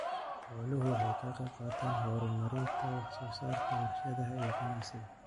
Xooluhu waxay ka qayb qaataan horumarinta wax soo saarka warshadaha iyo ganacsiga.